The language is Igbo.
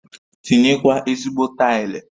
Tinye kwa ezigbo taili